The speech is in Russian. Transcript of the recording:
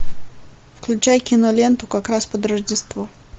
включай киноленту как раз под рождество